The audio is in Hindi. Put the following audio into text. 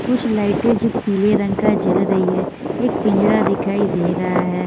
कुछ लाइट जो पीले रंग की जल रही है एक पिंजड़ा दिखाई दे रहा है।